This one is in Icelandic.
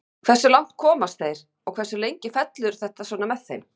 Hversu langt komast þeir og hversu lengi fellur þetta svona með þeim.